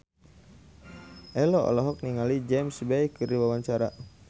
Ello olohok ningali James Bay keur diwawancara